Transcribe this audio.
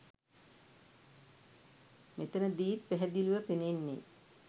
මෙතනදීත් පැහැදිලිව පෙනෙන්නේ